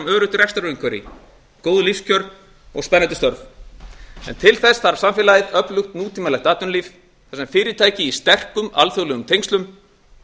öruggt rekstrarumhverfi góð lífskjör og spennandi störf en til þess þarf samfélagið öflugt nútímalegt atvinnulíf þar sem fyrirtæki í sterkum alþjóðlegum tengslum